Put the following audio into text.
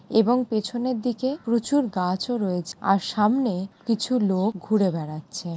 এবং পেছনের দিকে প্রচুর গাছও রয়েছে। আর সামনে কিছু লোক ঘুরে বেড়াচ্ছে ।